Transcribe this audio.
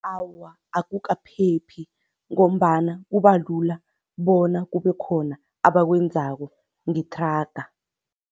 Awa, akukaphephi ngombana kubalula bona kube khona abakwenzako ngethraga.